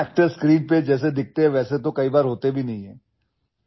اداکار اکثر وہ نہیں ہوتے جیسے وہ اسکرین پر نظر آتے ہیں